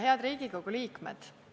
Head Riigikogu liikmed!